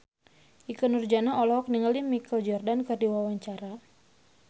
Ikke Nurjanah olohok ningali Michael Jordan keur diwawancara